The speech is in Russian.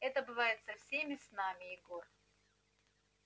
это бывает со всеми с нами егор